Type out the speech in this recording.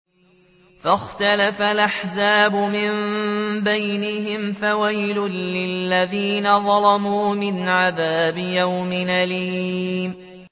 فَاخْتَلَفَ الْأَحْزَابُ مِن بَيْنِهِمْ ۖ فَوَيْلٌ لِّلَّذِينَ ظَلَمُوا مِنْ عَذَابِ يَوْمٍ أَلِيمٍ